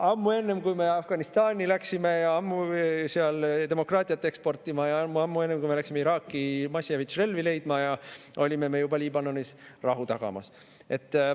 Ammu enne, kui me Afganistani läksime ja sinna demokraatiat eksportima hakkasime, juba ammu-ammu enne, kui me läksime Iraaki massihävitusrelvi leidma, olime me juba Liibanonis rahu tagamas.